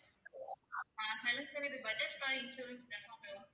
sir இது Bajaj car insurance தானே sir